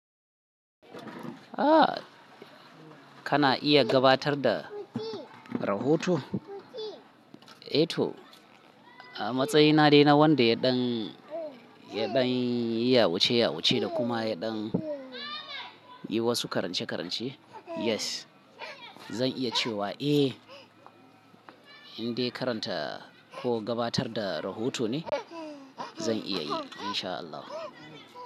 Ah, kana iya gabatar da rahoto? Eh to, a matsayina dai na wanda ya ɗan, ya ɗan yawace-yawace da kuma ya ɗan yi wasu karance-karance, yes. Zan iya cewa eh, in dai karanta ko gabatar da rahoto ne, zan iya yi in sha Allah.